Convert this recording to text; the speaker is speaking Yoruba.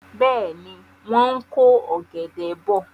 Bẹ́ẹ̀ni, wọ́n ń ko ọ̀gẹ̀dẹ̀ bọ̀.